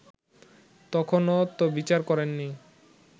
তখনো তো বিচার করেননি